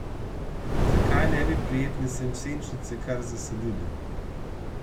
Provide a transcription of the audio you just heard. Zakaj ne bi prijetne senčnice kar zasadili?